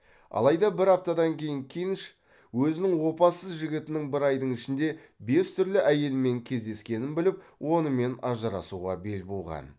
алайда бір аптадан кейін кинш өзінің опасыз жігітінің бір айдың ішінде бес түрлі әйелмен кездескенін біліп онымен ажырасуға бел буған